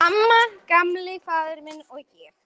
Amma, Gamli faðir minn, og ég.